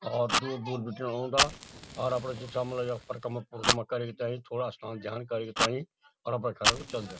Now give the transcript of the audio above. और दूर-दूर बटीन ओंदा और अपडा जु छा मलब यख फर कमडा फुड मा करी तईं थोड़ा स्नान ध्यान करी तईं और अपरा घरक चल जां।